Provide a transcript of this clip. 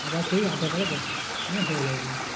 আবার সেই aadhaar card এ নিয়ে হয়ে যায় আমার।